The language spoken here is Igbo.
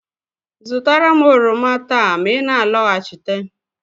Zụtara m oroma taa ma ị na-alọghachite!